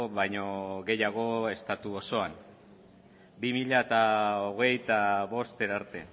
baino gehiago estatu osoan bi mila hogeita bost arte